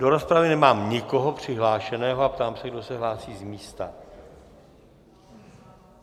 Do rozpravy nemám nikoho přihlášeného a ptám se, kdo se hlásí z místa.